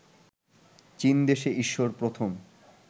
চীন দেশে ঈশ্বর প্রথম